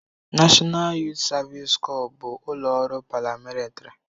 Nashọnal Yuut Savisi Cọps bụ ụlọ ọrụ paramilitịrị.